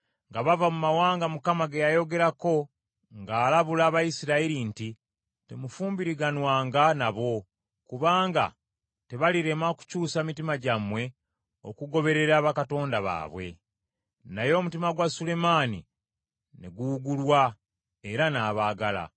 nga bava mu mawanga Mukama ge yayogerako ng’alabula Abayisirayiri nti, “Temufumbiriganwanga nabo kubanga tebalirema kukyusa mitima gyammwe okugoberera bakatonda baabwe.” Naye omutima gwa Sulemaani ne guwugulwa, era naabagala.